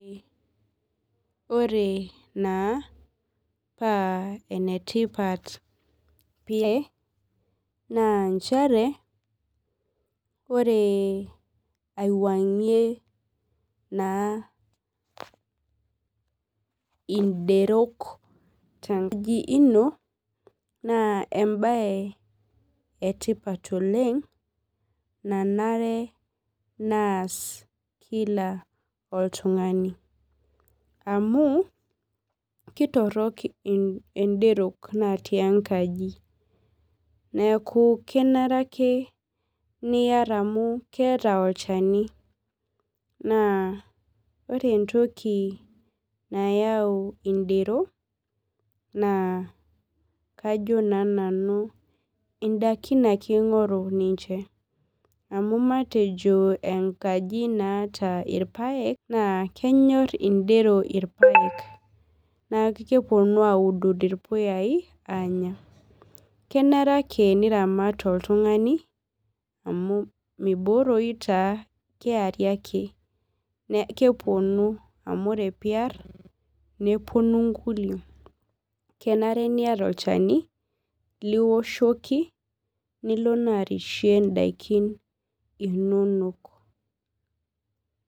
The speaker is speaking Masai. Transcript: Ore na paa enetipat pa na nchere ore aiwuangie na inderol tenkaji ino na embae etipat oleng nenare peas kila oltungani amu kitorok ndero natii enkaji neaku kenare ake niar amu keeta olchani na ore entoki nayau ndero na kajo nanu ndakin ake ingori ninye amu matejo enkaji naata irpaek na kenyor indero irpaek neaku keponu aaud irpuyai neaku kenare ake niramat oltungani amu mibooroyi taa keponu amu ore piar neponu nkulie, kenare niata olchani lioshoko nilo na arishie ndakin inonok.